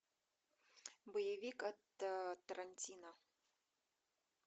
боевик от тарантино